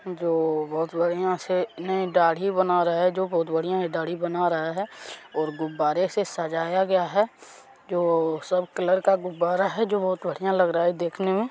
जो बहुत डबिया से नहीं दाढ़ी बना रहे है जो बहुत बड़िया है दाढ़ी बना रहा है और गुब्बारे से सजाया गया है जो सब कलर का गुब्बारा है जो बहुत बड़िया लग रहा है देखने मे--